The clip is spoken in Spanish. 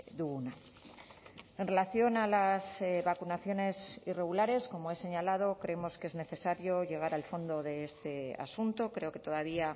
duguna en relación a las vacunaciones irregulares como he señalado creemos que es necesario llegar al fondo de este asunto creo que todavía